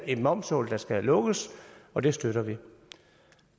et momshul der skal lukkes og det støtter vi